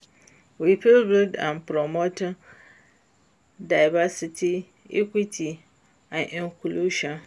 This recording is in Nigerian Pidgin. We fit build am by promoting diversity, equity and inclusion.